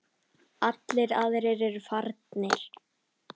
Allir aðrir eru farnir.